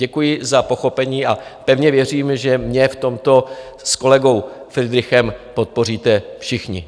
Děkuji za pochopení a pevně věřím, že mě v tomto s kolegou Fridrichem podpoříte všichni.